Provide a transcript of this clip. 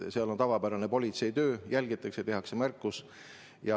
Seal on tavapärane politseitöö: jälgitakse, tehakse märkus.